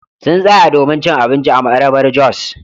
Sun tsaya domin cin abinci a Marabar-jos.